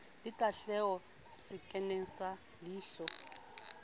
le tahleho sekeng sa leilho